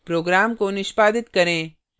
program को निष्पादित करें